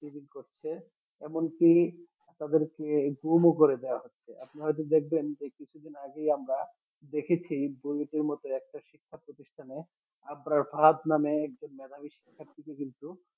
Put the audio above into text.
Eve teasing করছে এমনকি তাদেরকে খুনও করে দেওয়া হচ্ছে আপনি হয়ত দেখবেন যে কিছুদিন আগেই আমরা দেখেছি মধ্যে একটা শিক্ষা প্রতিষ্ঠানে আফরা ফাহাদ নামে একজন মেধাবী শিক্ষার্থীকে কিন্তু